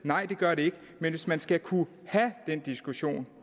nej det gør de ikke men hvis man skal kunne have den diskussion